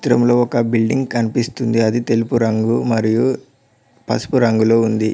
తిరము లో ఒక బిల్డింగ్ కన్పిస్తుంది అది తెలుపు రంగు మరియు పసుపు రంగులో ఉంది.